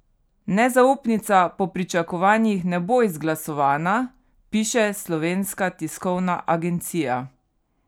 Nezaupnica po pričakovanjih ne bo izglasovana, piše Slovenska tiskovna agencija.